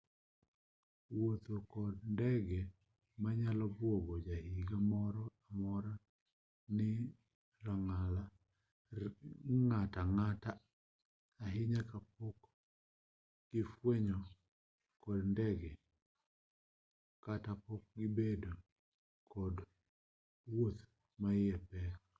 wuotho kod ndege nyalo buogo jahiga moro-amora kod ng'atang'ata' ahinya kapok negifuyo kod ndege kata pok gibedo kod wuoth maiye tek